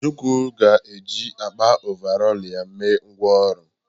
Ojukwu ga-eji akpa ọvarọọr ya eme ngwá ọrụ.